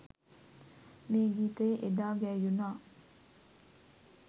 මේ ගීතය එදා ගැයුනා